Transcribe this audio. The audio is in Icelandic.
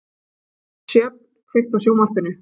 Sjöfn, kveiktu á sjónvarpinu.